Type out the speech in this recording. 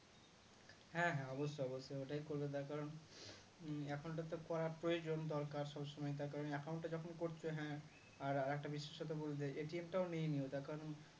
হ্যাঁ হ্যাঁ অবশ্যই অবশ্যই ওটাই করবো তার কারণ account টা করার প্রয়োজন দরকার সবসময় তার কারণ account টা যখন করতে হ্যাঁ আর একটা বিশেষত বলে যাই টাও নিয়ে নিও তার কারণ